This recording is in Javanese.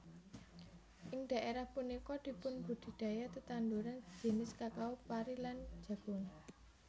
Ing dhaerah punika dipunbudidaya tetanduran jinis kakao pari lan jagung